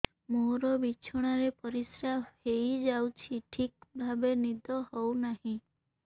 ମୋର ବିଛଣାରେ ପରିସ୍ରା ହେଇଯାଉଛି ଠିକ ଭାବେ ନିଦ ହଉ ନାହିଁ